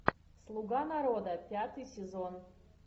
слуга народа пятый сезон